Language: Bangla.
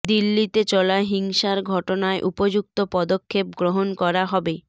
দিল্লিতে চলা হিংসার ঘটনায় উপযুক্ত পদক্ষেপ গ্রহণ করা হবে